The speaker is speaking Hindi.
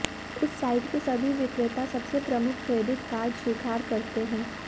उस साइट के सभी विक्रेता सबसे प्रमुख क्रेडिट कार्ड स्वीकार करते हैं